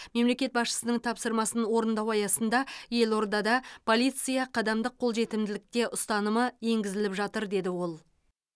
мемлекет басшысының тапсырмасын орындау аясында елордада полиция қадамдық қолжетімділікте ұстанымы енгізіліп жатыр деді ол